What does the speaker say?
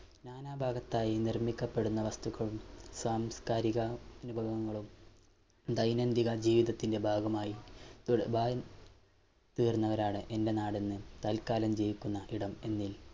നാനാ ഭാഗത്തായി നിർമിക്കപ്പെടുന്ന വസ്തുക്കളും സാംസ്‌കാരിക മികവങ്ങളും ദൈനംദിന ജീവിതത്തിൻറെ ഭാഗമായി തീർന്നവരാനാണ് എന്റെ നാടെന്ന് തല്ക്കാലം ജയിക്കുന്ന ഇടം എന്നിൽ